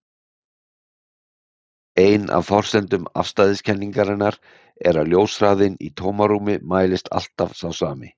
Ein af forsendum afstæðiskenningarinnar er að ljóshraðinn í tómarúmi mælist alltaf sá sami.